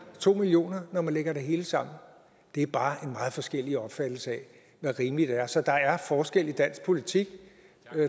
to million kr når man lægger det hele sammen er bare en meget forskellig opfattelse af hvad rimeligt er så der er forskel i dansk politik